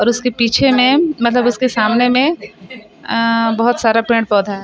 उसके पीछे मे मतलब उसके सामने मे अअअ बहोत सारा पेड़-पौधा है।